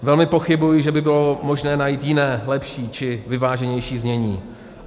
Velmi pochybuji, že by bylo možné najít jiné, lepší či vyváženější znění.